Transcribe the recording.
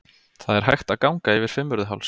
Það er hægt að ganga yfir Fimmvörðuháls.